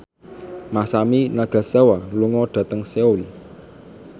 Masami Nagasawa lunga dhateng Seoul